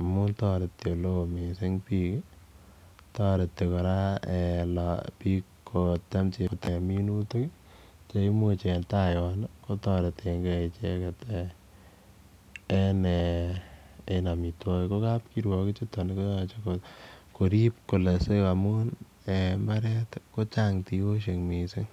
amun toreti ele o mising biik toreti kora biik kotem minutik cheimuch en ta yon kotoretenge icheget en amitwwogik. KO kap kirwok ichuton koyoche korip amun en mbaret kochang tiyosiek mising